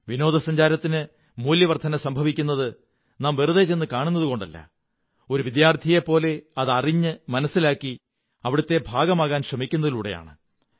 വിനോദസഞ്ചാരത്തിന് മൂല്യവര്ധളന സംഭവിക്കുന്നത് നാം വെറുതെ ചെന്നു കാണുന്നതുകൊണ്ടല്ല ഒരു വിദ്യാര്ഥിവയെപ്പോലെ അത് അറിഞ്ഞ് മനസ്സിലാക്കി അവിടത്തെ ഭാഗമാകാൻ ശ്രമിക്കുന്നതിലൂടെയാണ്